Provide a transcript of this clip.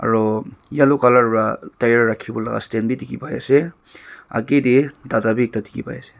yellow para tyre rakhi bole stand bhi dekhi paise aghe te dada bhi ekta dekhi pai ase.